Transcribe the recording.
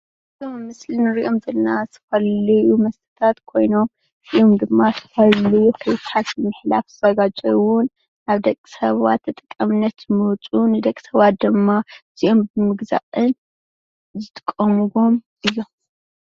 እዞም ኣብ ምስሊ እንሪኦም ዘለና ዝተፈላለዩ መሦታት ኾይኖም እዚኦም ድማ ዝተፈላለዩ ዝዘጋጀውንደቅ ሰባት ተጠቃምነት ዘገልግሉን እዮም።